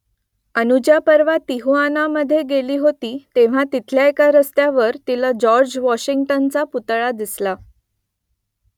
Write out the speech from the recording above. अनुजा परवा तिहुआनामधे गेली होती तेव्हा तिथल्या एका रस्त्यावर तिला जॉर्ज वॉशिंग्टनचा पुतळा दिसला